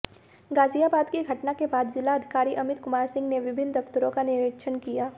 गाजियाबाद की घटना के बाद जिलाधिकारी अमित कुमार सिंह ने विभिन्न दफ्तरों का निरीक्षण किया